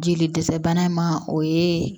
Jeli dɛsɛ bana in ma o ye